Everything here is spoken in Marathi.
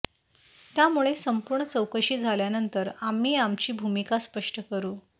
त्यामुळे संपूर्ण चौकशी झाल्यानंतर आम्ही आमची भूमिका स्पष्ट करु